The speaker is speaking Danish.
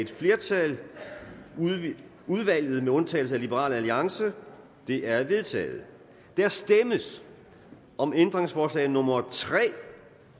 et flertal udvalget med undtagelse af liberal alliance det er vedtaget der stemmes om ændringsforslag nummer tre